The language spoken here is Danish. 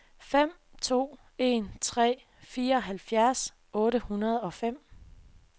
fem to en tre fireoghalvfjerds otte hundrede og fem